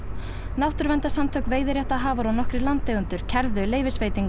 náttúruverndarsamtök veiðiréttarhafar og nokkrir landeigendur kærðu leyfisveitinguna